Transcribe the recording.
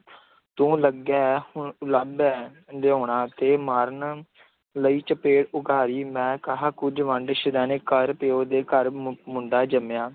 ਤੂੰ ਲੱਗਿਆ ਹੈ, ਹੁਣ ਉਲਾਂਭੇ ਹੈ ਲਿਆਉਣਾ ਤੇ ਮਾਰਨ ਲਈ ਚਪੇੜ ਉਘਾਰੀ, ਮੈਂ ਕਿਹਾ, ਕੁੱਝ ਵੰਡ ਸ਼ੁਦੇਣੇ ਕਾਇਰ ਪਿਉ ਦੇ ਘਰ ਮੁੰ ਮੁੰਡਾ ਜੰਮਿਆ।